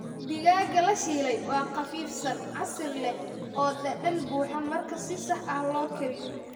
Digaagga la shiilay waa qafiifsan, casiir leh, oo dhadhan buuxa marka si sax ah loo kariyo.